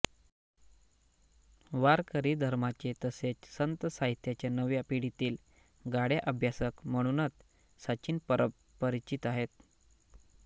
वारकरी धर्माचे तसेच संत साहित्याचे नव्या पिढीतील गाढे अभ्यासक म्हणूनही सचिन परब परिचित आहेत